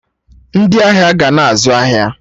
Ndị ahịa ga na-azụ ahịa